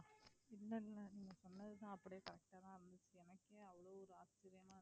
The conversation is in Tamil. இல்ல இல்ல